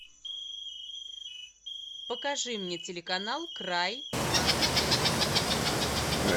покажи мне телеканал край на тв